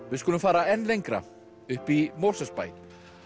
við skulum fara enn lengra upp í Mosfellsbæ